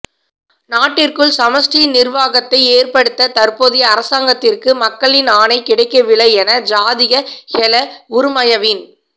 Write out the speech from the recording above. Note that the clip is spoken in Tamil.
நாட்டிற்குள் சமஷ்டி நிர்வாகத்தை ஏற்படுத்த தற்போதைய அரசாங்கத்திற்கு மக்களின் ஆணை கிடைக்கவில்லை என ஜாதிக ஹெல உறுமயவின்